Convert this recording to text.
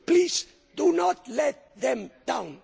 Please do not let them down.